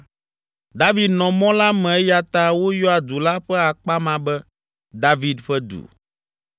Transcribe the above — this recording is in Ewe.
David nɔ mɔ la me eya ta woyɔa du la ƒe akpa ma be, David ƒe Du.